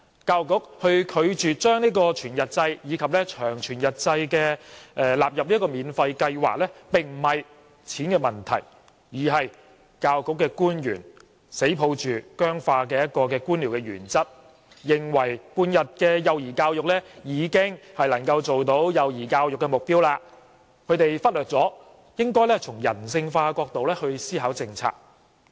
教育局拒絕將全日制及長全日制納入免費計劃，這並非金錢的問題，而是教育局官員堅守僵化的官僚原則，認為半日制的幼兒教育已能達到幼兒教育的目標，而忽略了應從人性化的角度思考政策。